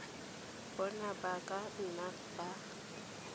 bona ba ka nna ba